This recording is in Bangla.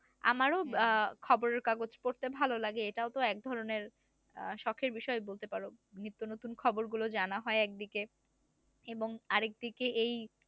আমারও আহ খবরের কাগজ পড়তে ভালো লাগে এটাও তো একধরনের আহ শখের বিষয় বলতে পারো নিত্য নতুন খবর গুলো জানা হয় একদিকে এবং আর একদিকে এই